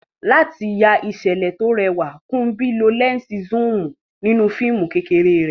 Láti ya ìṣẹ̀lẹ̀ tó rẹwà, Kunbi lo lẹ́ńsì zoom nínú fíìmù kéékèèké rẹ̀.